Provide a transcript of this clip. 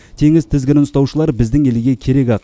теңіз тізгінін ұстаушылар біздің елге керек ақ